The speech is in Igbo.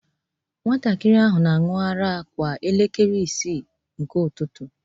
Nwatakịrị ahụ na-aṅụ ara kwa elekere isii nke ụtụtụ